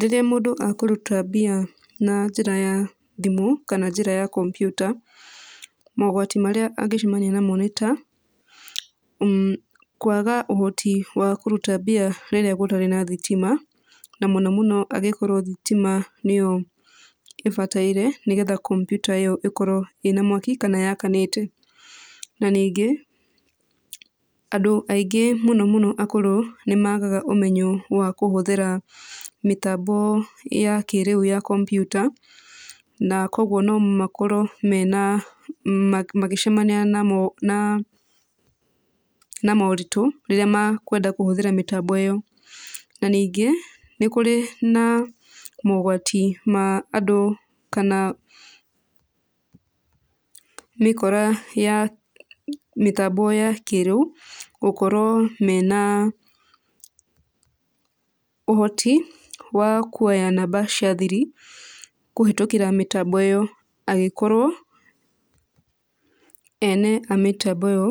Rĩrĩa mũndũ akũruta mbia na njĩra ya thimũ kana njĩra ya kompiuta, mogwati marĩa angĩcemania namo nĩ ta; mmh kwaga ũhoti wa kũruta mbia rĩrĩa gũtarĩ na thitima, na mũno mũno angĩkorwo thitima nĩyo ĩbataire nĩgetha kompiuta ĩyo ĩkorwo ĩna mwaki kana yakanite. Na ningĩ andũ aingĩ mũno mũno akũrũ nĩ magaga ũmenyo wa kũhũthĩra mĩtambo ya kĩrĩu ya kompiuta. Na koguo no makorwo mena, magĩcemania na moritũ rĩrĩa makwenda kũhũthĩra mĩtambo ĩyo. Na ningĩ nĩ kũrĩ na mogwati ma andũ kana mĩkora ya mĩtambo ya kĩrĩu gũkorwo mena ũhoti wa kuoya namba cia thiri kũhĩtũkĩra mĩtambo ĩyo, angĩkorwo ene mĩtambo ĩyo